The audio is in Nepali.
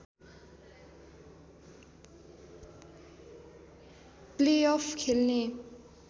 प्लेअफ खेल्ने